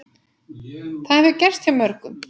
Það hefur gerst hjá mörgum.